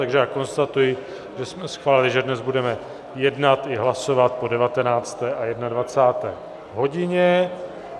Takže já konstatuji, že jsme schválili, že dnes budeme jednat i hlasovat po 19. a 21. hodině.